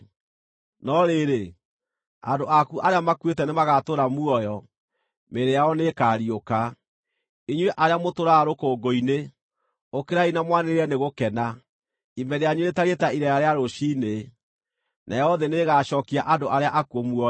No rĩrĩ, andũ aku arĩa makuĩte nĩmagatũũra muoyo; mĩĩrĩ yao nĩĩkariũka. Inyuĩ arĩa mũtũũraga rũkũngũ-inĩ, ũkĩrai na mwanĩrĩre nĩ gũkena. Ime rĩanyu rĩtariĩ ta ireera rĩa rũciinĩ; nayo thĩ nĩĩgacookia andũ arĩa akuũ muoyo.